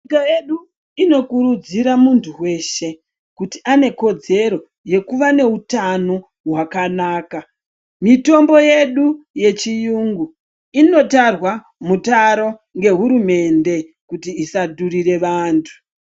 Nyika yedu inokurudzira munthu weshe kuti anekodzero yekuva neutano hwakanaka. Mitombo yedu yechiyungu inotarwa mitaro ngeHurumende kuti isadhurire vanthu.